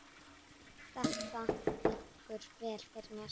Þetta liggur vel fyrir mér.